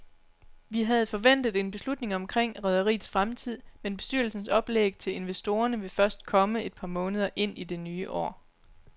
Vi havde forventet en beslutning omkring rederiets fremtid, men bestyrelsens oplæg til investorerne vil først komme et par måneder ind i det nye år.